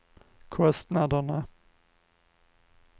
kostnaderna